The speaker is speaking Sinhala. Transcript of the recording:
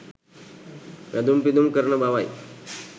වැඳුම් පිදුම් කරන බවයි.